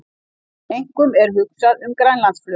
Einkum er hugsað um Grænlandsflug